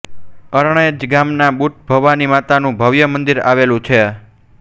અરણેજ ગામમાં બુટભવાની માતા નું ભવ્ય મંદિર આવેલુ છે